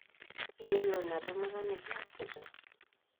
Iyiolo inatemata nikiasita?